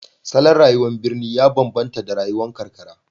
Salon rayuwar birni ya bambanta da rayuwar karkara